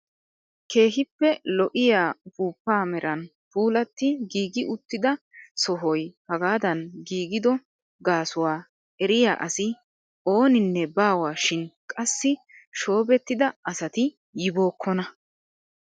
Keehippe lo"iyaa upuupaa meran puulatti giigi uttida sohoy hagaadan giigido gaasuwaa eriyaa asi oooninne baawa shin qassi shoobettida asati yibookkona!